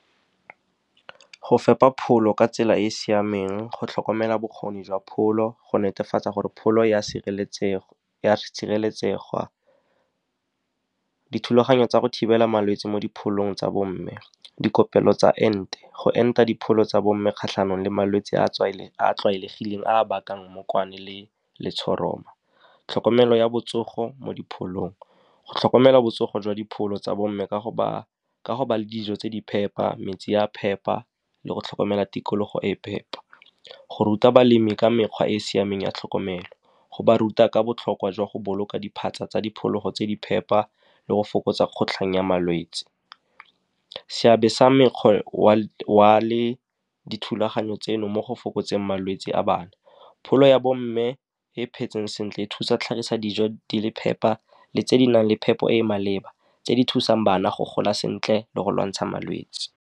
Go fepa pholo ka tsela e e siameng, go tlhokomela bokgoni jwa pholo, go netefatsa gore pholo e a sireletsega. Dithulaganyo tsa go thibela malwetse mo dipholong tsa bo mme, dikopelo tsa ente, go enta dipholo tsa bo mme kgatlhanong le malwetse a a tlwaelegileng a a bakang mmokwane le letshoroma. Tlhokomelo ya botsogo mo dipholong, go tlhokomela botsogo jwa dipholo tsa bomme ka go ba le dijo tse di phepa, metsi a phepa, le go tlhokomela tikologo e e phepa. Go ruta balemi ka mekgwa e e siameng ya tlhokomelo, go ba ruta ka botlhokwa jwa go boloka diphatsa tsa diphologo tse di phepa le go fokotsa kgotlhang ya malwetse. Seabe sa mekgwa le dithulaganyo tseno mo go fokotseng malwetse a bana. Pholo ya bo mme e phetseng sentle e thusa tlhagisa dijo di le phepa le tse di nang le phepo e e maleba, tse di thusang bana go gola sentle le go lwantsha malwetse.